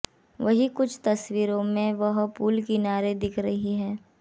वहीं कुछ तस्वीरों में वह पूल किनारे दिख रही हैं